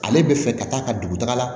Ale bɛ fɛ ka taa ka dugutaga la